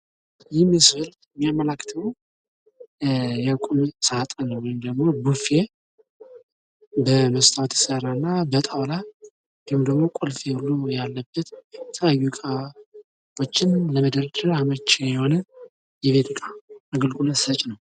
ይህ ስዕል የሚያመላክተው የቁም ሳጥንን ወይም ቡፌ በመስታወት የተሰራ እና በጣውላ ቁልፍ ያለበት እቃዎችን ለመደርደር አመቺ የሆነ የቤት ዕቃ አግልግሎት ሰጪ ነው::